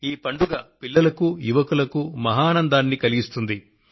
ఈ పండుగ పిల్లలకు యువకులకు మహదానందాన్ని కలిగిస్తుంది